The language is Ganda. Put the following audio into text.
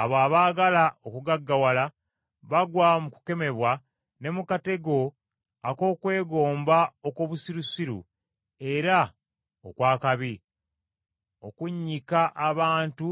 Abo abaagala okugaggawala bagwa mu kukemebwa ne mu katego ak’okwegomba okw’obusirusiru era okw’akabi, okunnyika abantu